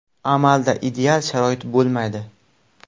Amalda ideal sharoit bo‘lmaydi.